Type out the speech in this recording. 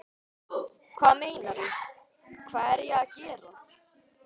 Hvað meinarðu, hvað er ég að gera?